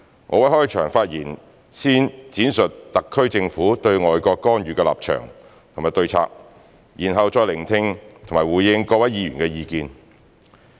我會在開場發言先闡述特區政府對外國干預的立場及對策，然後再聆聽及回應各位議員的意見。